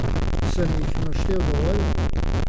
Sem jh naštel dovolj?